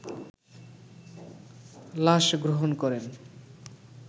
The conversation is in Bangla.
লাশ গ্রহন করেন